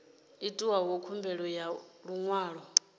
itaho khumbelo ya ḽi ṅwalo